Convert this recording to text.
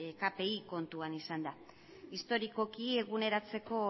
kpia kontuan izanda historikoki eguneratzeko